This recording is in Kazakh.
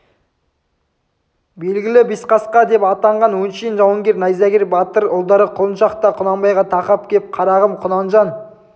белгілі бесқасқа деп атанған өңшең жауынгер найзагер батыр ұлдары құлыншақ та құнанбайға тақап кеп қарағым құнанжан